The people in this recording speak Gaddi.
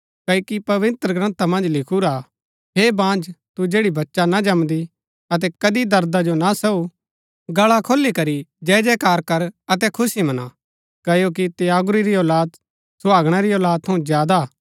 क्ओकि पवित्रग्रन्था मन्ज लिखुरा हा हे बाँझ तू जैड़ी बच्चा ना जमदी अतै कदी दर्दा जो ना सहू गल्ला खोली करी जय जयकार कर अतै खुशी मना क्ओकि त्यागुरी री औलाद सुहागणा री औलादी थऊँ ज्यादा हा